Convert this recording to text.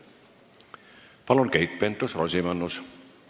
Palun, Keit Pentus-Rosimannus!